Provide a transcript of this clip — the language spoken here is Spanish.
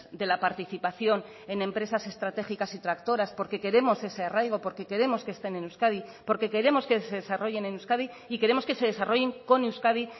de la participación en empresas estratégicas y tractoras porque queremos ese arraigo porque queremos que estén en euskadi porque queremos que se desarrollen en euskadi y queremos que se desarrollen con euskadi